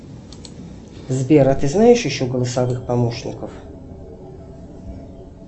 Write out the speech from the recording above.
сбер а ты знаешь еще голосовых помощников